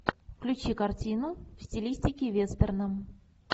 включи картину в стилистике вестерна